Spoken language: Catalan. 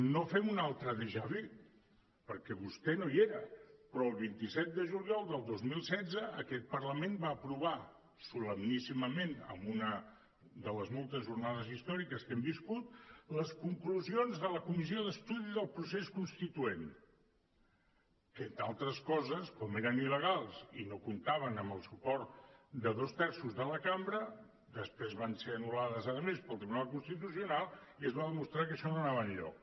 no fem un altre dejà vú perquè vostè no hi era però el vint set de juliol del dos mil setze aquest parlament va aprovar solemníssimament en una de les moltes jornades històriques que hem viscut les conclusions de la comissió d’estudi del procés constituent que entre altres coses com eren il·legals i no comptaven amb el suport de dos terços de la cambra després van ser anul·lades a més pel tribunal constitucional i es va demostrar que això no anava enlloc